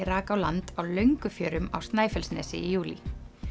rak á land á Löngufjörum á Snæfellsnesi í júlí